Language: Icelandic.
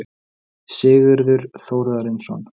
Sigurður Þórarinsson.